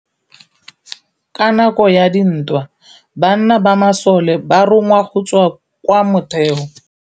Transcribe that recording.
Ka nakô ya dintwa banna ba masole ba rongwa go tswa kwa mothêô.